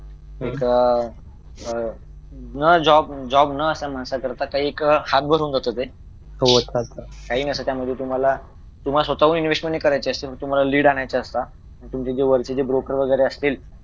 एक अह job job आता माणसाकरिता काही एक हात बसून जात होते काही नसतं त्यामुळे तुम्हाला स्वतःहून इन्व्हेस्ट नाही करायचे असते पण तुम्हाला लीड आणायचे असतात तुमचे जवळचे जे ब्रोकर वगैरे असतील